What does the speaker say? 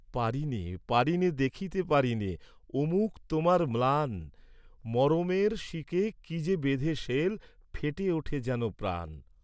পারিনে, পারিনে, দেখিতে পারিনে ও মুখ তোমার ম্লান, মরমের শিকে কি যে বেঁধে শেল ফেটে উঠে যেন প্রাণ।